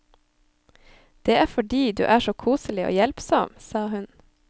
Det er fordi du er så koselig og hjelpsom, sa hun.